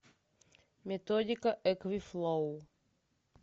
методика эквифлоу